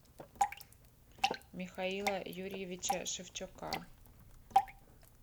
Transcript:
михаила юрьевича шевчука